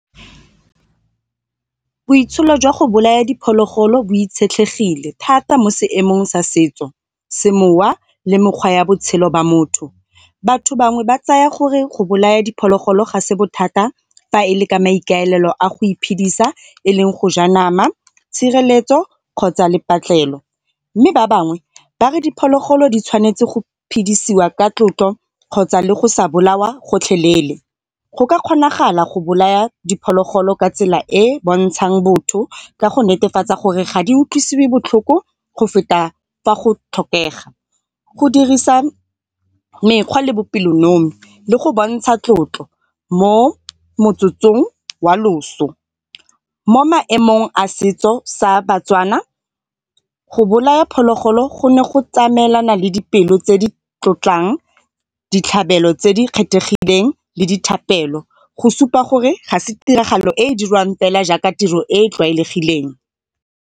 Boitsholo jwa go bolaya diphologolo bo itshetlegile thata mo seemong sa setso, se mowa le mekgwa ya botshelo jwa motho. Batho bangwe ba tsaya gore go bolaya diphologolo ga se bothata fa e le ka maikaelelo a go iphedisa e leng go ja nama, tshireletso kgotsa le . Mme ba bangwe ba re diphologolo di tshwanetse go phedisiwa ka tlotlo kgotsa le go sa bolawa gotlhelele. Go ka kgonagala go bolaya diphologolo ka tsela e bontshang botho ka go netefatsa gore ga di utlwisiwe botlhoko go feta fa go tlhokega. Go dirisa mekgwa le bopelonomi le go bontsha tlotlo mo motsotsong wa loso. Mo maemong a setso sa baTswana go bolaya phologolo go ne go tsamaelana le dipelo tse di tlotlang ditlhabelo tse di kgethegileng le dithapelo. Go supa gore ga e se tiragalo e dirwang fela jaaka tiro e tlwaelegileng.